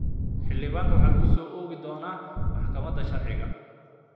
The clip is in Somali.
Xildhibaanka waxaa lagu soo oogi doonaa maxkamadaha sharciga.